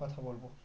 কথা বলবো